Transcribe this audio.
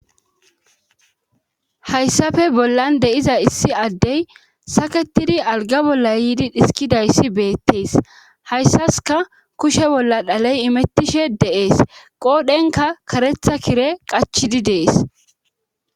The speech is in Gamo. hayssafe bollan de7iza issi addey saketidi alga bolla yiidi dhiskidayssi beettees hayssaska kushe bolla dhaley imettishe de7ees qoodhenka karetha kire qachidi dees